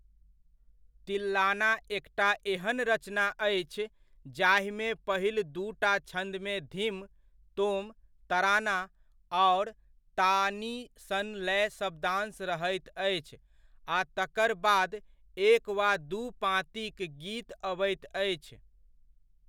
तिल्लाना एकटा एहन रचना अछि जाहिमे पहिल दूटा छन्दमे धिम, तोम, तराना आओर ताऽनी सन लय शब्दांश रहैत अछि आ तकर बाद एक वा दू पाँतिक गीत अबैत अछि।